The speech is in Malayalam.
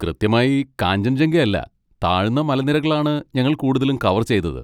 കൃത്യമായി കാഞ്ചൻജംഗ അല്ല, താഴ്ന്ന മലനിരകളാണ് ഞങ്ങൾ കൂടുതലും കവർ ചെയ്തത്.